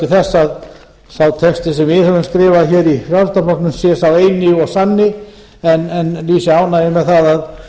þess að sá texti sem við höfum skrifað hér í frjálslynda flokknum sé sá eini og sanni en lýsi ánægju með að